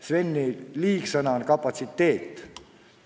Sveni parasiitsõna on "kapatsiteet".